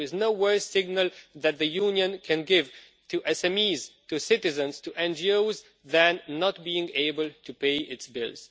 There is no worse signal that the Union can give to SMEs, to citizens and to NGOs than not being able to pay its bills.